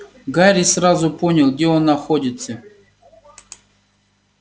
гарри сразу понял где он находится